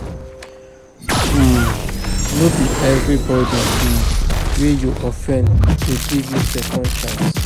um No be everybody um wey you offend go give you second chance.